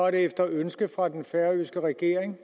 efter ønske fra den færøske regering